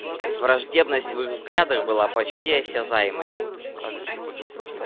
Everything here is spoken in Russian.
враждебность в их взглядах была почти осязаемой